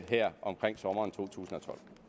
her omkring sommeren totusinde